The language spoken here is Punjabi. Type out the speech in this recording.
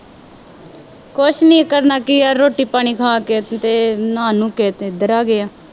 ਕੁੱਛ ਨਹੀਂ ਕਰਨਾ ਕੀ ਹੈ, ਰੋਟੀ ਪਾਣੀ ਖਾ ਕੇ ਅਤੇ ਨਹਾ ਨੂਹ ਕੇ ਇੱਧਰ ਆ ਗਏ ਹਾਂ